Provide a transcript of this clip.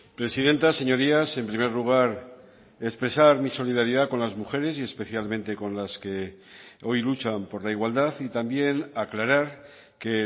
presidenta señorías en primer lugar expresar mi solidaridad con las mujeres y especialmente con las que hoy luchan por la igualdad y también aclarar que